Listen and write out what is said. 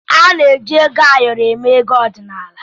A na-eji ego ayọrọ eme ego ọdịnala.